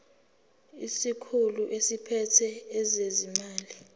isikhulu esiphethe ezezimali